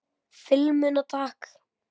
Filmuna takk!